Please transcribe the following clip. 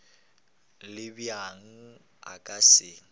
le bjang a ka se